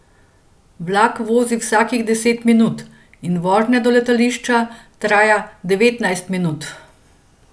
Vlak vozi vsakih deset minut in vožnja do letališča traja devetnajst minut.